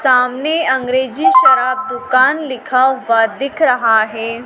सामने अंग्रेजी शराब दुकान लिखा हुआ दिख रहा है।